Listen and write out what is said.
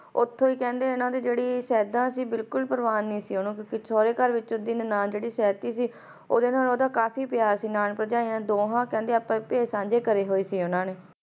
ਉਥੋਂ ਹੈ ਕਹਿੰਦੇ ਜੈਰੀ ਸਾਇਡਾਂ ਸੀ ਉਸ ਨੂੰ ਬਿਲਕੁਲ ਪ੍ਰਵਾਹ ਨਹੀਂ ਸੀ ਨਿੰਆਂ ਭਰਜਯੀ ਨੇ ਭੈੜਾਂ ਜੇ ਰੱਖੇ ਹੁਈ ਸੀ ਆਪਸ ਮੇਂ